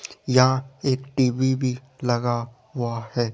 यहां एक टी_वी भी लगा हुआ है।